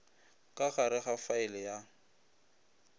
ka gare ga faele ya